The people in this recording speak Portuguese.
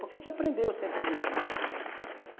Porque a gente aprendeu sempre isso, né?